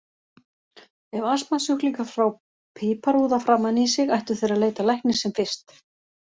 Ef astmasjúklingar fá piparúða framan í sig ættu þeir að leita læknis sem fyrst.